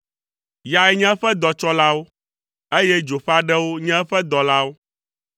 Yae nye eƒe dɔtsɔlawo, eye dzo ƒe aɖewo nye eƒe dɔlawo.